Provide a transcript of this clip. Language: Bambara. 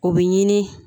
O bɛ ɲini